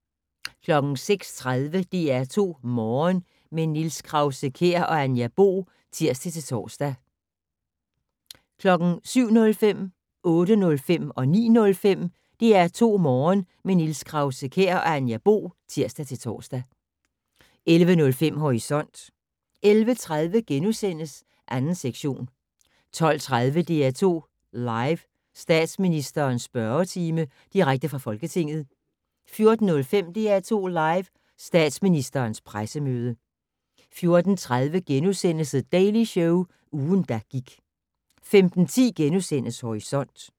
06:30: DR2 Morgen - med Niels Krause-Kjær og Anja Bo (tir-tor) 07:05: DR2 Morgen - med Niels Krause-Kjær og Anja Bo (tir-tor) 08:05: DR2 Morgen - med Niels Krause-Kjær og Anja Bo (tir-tor) 09:05: DR2 Morgen - med Niels Krause-Kjær og Anja Bo (tir-tor) 11:05: Horisont 11:30: 2. sektion * 12:30: DR2 Live: Statsministerens spørgetime - direkte fra Folketinget 14:05: DR2 Live: Statsministerens pressemøde 14:30: The Daily Show - ugen, der gik * 15:10: Horisont *